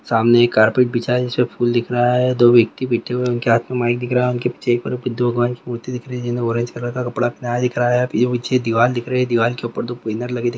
सामने एक कारपेट बिछा है जिसमे फूल दिख रहा है दो व्यक्ति बैठे हुए हैं उनके हाथ में माइक दिख रहा है। उनके पीछे दिख रहा है पीछे दीवाल दिख रहा है दीवाल के ऊपर दो बैनर लगे दिख--